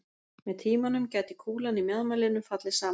með tímanum gæti kúlan í mjaðmarliðnum fallið saman